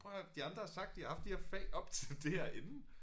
Prøv at høre her de andre har sagt de har haft de her fag op til det her inden